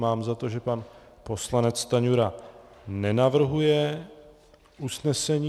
Mám za to, že pan poslanec Stanjura nenavrhuje usnesení.